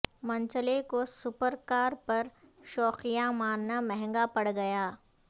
منچلے کو super car پر شوخیاں مارنا مہنگا پڑ گیا